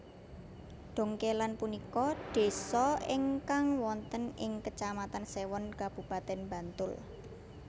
Dongkélan punika désa ingkang wonten ing Kecamatan Séwon Kabupatèn Bantul